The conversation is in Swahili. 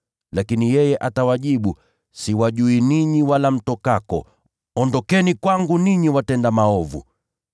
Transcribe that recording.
“Lakini yeye atawajibu, ‘Siwajui ninyi, wala mtokako. Ondokeni kwangu, ninyi watenda maovu!’